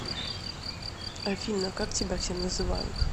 афина как тебя все называют